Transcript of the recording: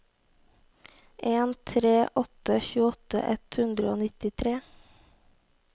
en tre en åtte tjueåtte ett hundre og nittitre